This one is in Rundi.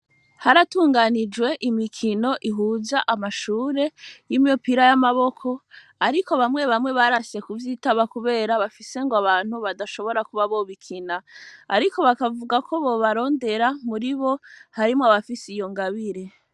Haratunganijwe imikino ihuja amashure y'imiyopira y'amaboko, ariko bamwe bamwe barase ku vyitaba, kubera bafise ngo abantu badashobora kuba bobikina, ariko bakavuga ko bobarondera muri bo harimwo abafise iyo ngabire.